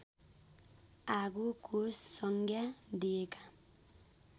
आगोको संज्ञा दिएका